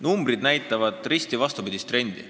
Numbrid näitavad risti vastupidist trendi.